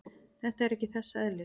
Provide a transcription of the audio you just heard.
Þetta er ekki þess eðlis.